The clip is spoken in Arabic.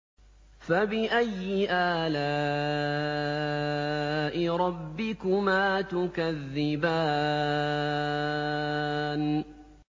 فَبِأَيِّ آلَاءِ رَبِّكُمَا تُكَذِّبَانِ